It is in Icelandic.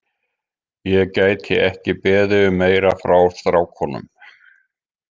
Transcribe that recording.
Ég gæti ekki beðið um meira frá strákunum.